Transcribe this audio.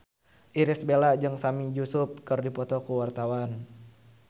Irish Bella jeung Sami Yusuf keur dipoto ku wartawan